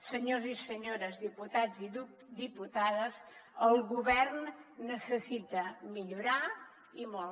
senyors i senyores diputats i diputades el govern necessita millorar i molt